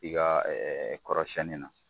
I ka kɔrɔsɛnni na.